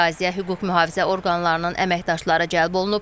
Əraziyə hüquq mühafizə orqanlarının əməkdaşları cəlb olunub.